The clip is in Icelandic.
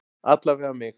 Alla vega mig.